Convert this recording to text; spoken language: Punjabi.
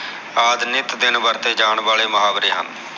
ਆਦਿ ਨਿਤ ਦਿਨ ਵਰਤੇ ਜਾਨ ਵਾਲੇ ਮੁਹਾਵਰੇ ਹਨ